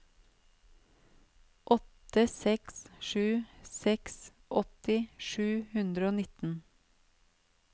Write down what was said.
åtte seks sju seks åtti sju hundre og nitten